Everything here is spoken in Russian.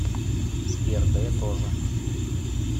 сбер да я тоже